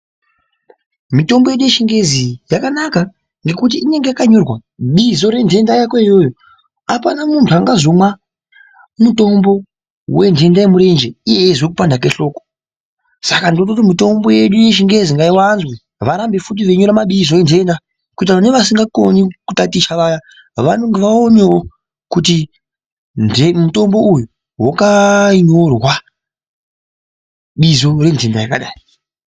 Mitombo yedu yechingezi yakanaka ngekuti inonga yakanyorwa bizo rentenda yako iyoyo, apana muntu angazomwa mutombo wenhenda yemurenje iye aizwe kupanda kehloko. Saka ndinototi mitombo yedu yechingezi ngaiwanzwe varambefuti veinyorababizo entenda kuitira kuti nevasingakone kutaticha vaya vaonewo kuti mutombo uyu wakanyorwa bizo rentenda yakadai.